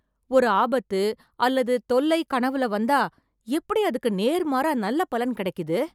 ஒரு ஆபத்து, அல்லது தொல்லை கனவுல வந்தா, எப்டி அதுக்கு நேர்மாறா நல்ல பலன் கெடைக்குது...